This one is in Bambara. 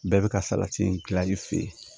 Bɛɛ bɛ ka salati in dilan i fɛ yen